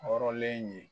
Hɔrɔnlen ye